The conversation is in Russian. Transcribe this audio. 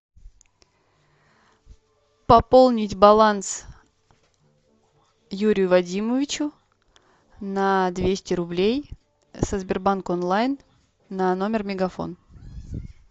пополнить баланс юрию вадимовичу на двести рублей со сбербанк онлайн на номер мегафон